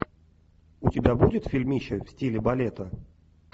у тебя будет фильмище в стиле балета